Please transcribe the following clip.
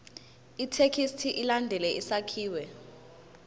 ithekisthi ilandele isakhiwo